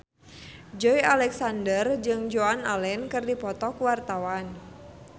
Joey Alexander jeung Joan Allen keur dipoto ku wartawan